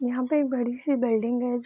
यहाँ पेक बड़ी सी बिल्डिंग है ज --